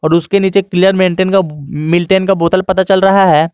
उसके नीचे clear maintain का मिल्टन का बोतल पता चल रहा है।